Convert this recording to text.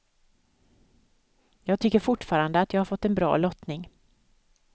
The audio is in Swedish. Jag tycker fortfarande att jag har fått en bra lottning.